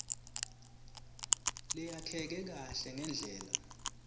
leyakheke kahle ngendlela